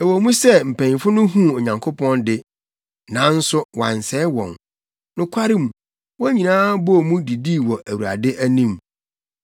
Ɛwɔ mu sɛ mpanyimfo no huu Onyankopɔn de, nanso wansɛe wɔn. Nokwarem, wɔn nyinaa bɔɔ mu didii wɔ Awurade anim.